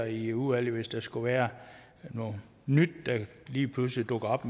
i udvalget hvis der skulle være noget nyt der lige pludselig dukker op